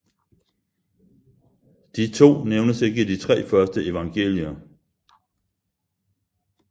De to nævnes ikke i de tre første evangelier